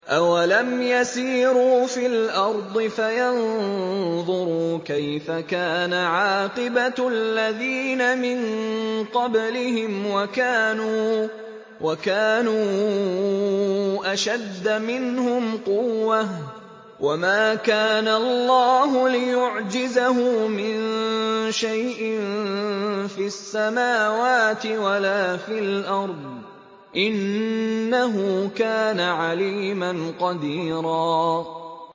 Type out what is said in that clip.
أَوَلَمْ يَسِيرُوا فِي الْأَرْضِ فَيَنظُرُوا كَيْفَ كَانَ عَاقِبَةُ الَّذِينَ مِن قَبْلِهِمْ وَكَانُوا أَشَدَّ مِنْهُمْ قُوَّةً ۚ وَمَا كَانَ اللَّهُ لِيُعْجِزَهُ مِن شَيْءٍ فِي السَّمَاوَاتِ وَلَا فِي الْأَرْضِ ۚ إِنَّهُ كَانَ عَلِيمًا قَدِيرًا